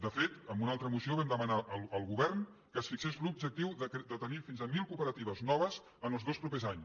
de fet en una altra moció vam demanar al govern que es fixés l’objectiu de tenir fins a mil cooperatives noves en els dos propers anys